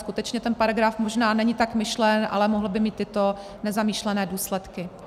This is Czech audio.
Skutečně ten paragraf možná není tak myšlen, ale mohl by mít tyto nezamýšlené důsledky.